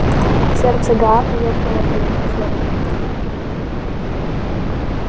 сердце гаала ёкнуло при этих словах